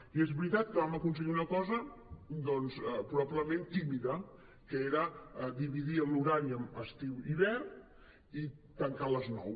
i és veritat que vam aconseguir una cosa doncs probablement tímida que era dividir l’horari en estiu i hivern i tancar a les nou